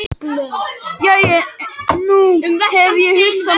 Jæja, nú hef ég hugsað málið.